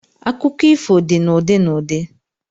Akụkọ ifo dị na ụdị na ụdị